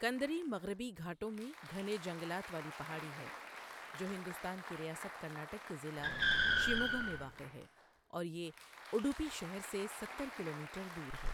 کندادری مغربی گھاٹوں میں گھنے جنگلات والی پہاڑی ہے جو ہندوستان کی ریاست کرناٹک کے ضلع شموگا میں واقع ہے اور یہ اڈپی شہر سے ستر کلومیٹر دور ہے۔